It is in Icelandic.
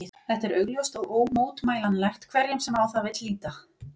Þetta er augljóst og ómótmælanlegt hverjum sem á það vill líta.